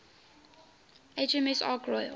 hms ark royal